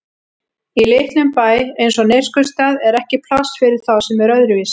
Í litlum bæ eins og Neskaupstað er ekki pláss fyrir þá sem eru öðruvísi.